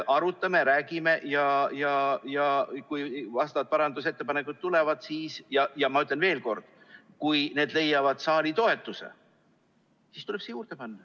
Arutame ja räägime ning kui parandusettepanekud tulevad ning, ma ütlen veel kord, kui need leiavad saali toetuse, siis tuleb see siia juurde panna.